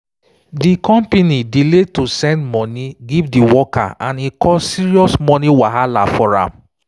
de company delay to send money give di worker and e cause serious money wahala for am.